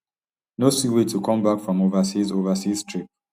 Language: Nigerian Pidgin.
no see way to come back from overseas overseas trip